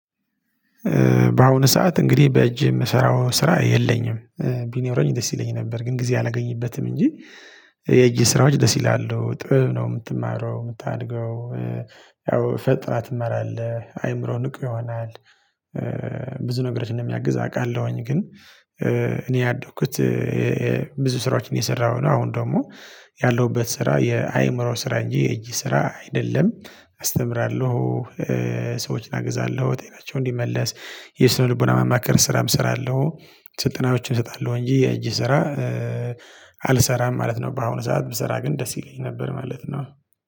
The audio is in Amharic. በአሁኑ ሰዓት እንግዲህ በእጅ የምሰራው ስራ የለኝም ቢኖረኝ ደስ ይለኝ ነበር ግን ጊዜ አላገኝበትም እንጂ የእጅ ስራዎች ደስ ይላሉ፤ ጥበብ ነው የምትማረው፤ የምታድገው፤ ያው ፈጥራ ትመራለህ አይምሮ ንቁ ይሆናል፤ ብዙ ነገሮችን እንደሚያግዝ አውቃለሁኝ፤ ግን እኔ ያደኩት ብዙ ስራዎችን እየሰራሁ ነው አሁን ደግሞ ያለሁበት ስራ የአእምሮ ስራ እንጂ የእጅ ስራ አይደለም አስተምራለሁ፤ ሰዎችን አግዛለሁ ጤናቸውን እንዲመለስ የስነ ልቦና ማማከር ስራም እሰራለሁ፤ ስልጠናዎችን እሰጣለሁ እንጂ የእጅ ስራ አልሰራም ማለት ነው፤ በአሁኑ ሰዓት የምሰራ ግን ደስ ይለኝ ነበር ማለት ነው።